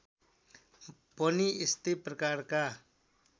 पनि यस्तै प्रकारका